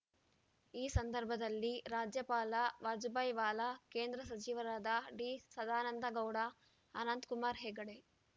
ಈ ಸಂದರ್ಭದಲ್ಲಿ ರಾಜ್ಯಪಾಲ ವಜುಭಾಯಿ ವಾಲಾ ಕೇಂದ್ರ ಸಚಿವರಾದ ಡಿ ಸದಾನಂದಗೌಡ ಅನಂತಕುಮಾರ್ ಹೆಗಡೆ